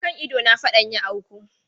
A kan idona fadan ya auku.